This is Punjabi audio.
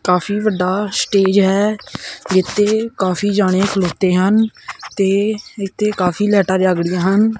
ਕਾਫੀ ਵੱਡਾ ਸਟੇਜ ਐ ਇੱਥੇ ਕਾਫੀ ਜਾਣੇ ਖਲੋਤੇ ਹਨ ਤੇ ਇੱਥੇ ਕਾਫੀ ਲਾਈਟਾ ਲੱਗ ੜਹੀਆਂ ਹਨ।